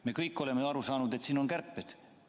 Me kõik oleme aru saanud, et põhjuseks on kärped.